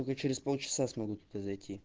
только через полчаса смогу туда зайти